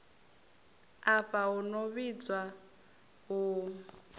afha hu no vhidzwa u